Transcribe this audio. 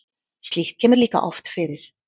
Slíkt kemur líka oft fyrir.